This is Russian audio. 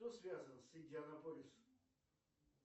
кто связан с индианаполис